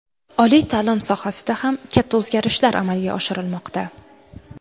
Oliy ta’lim sohasida ham katta o‘zgarishlar amalga oshirilmoqda.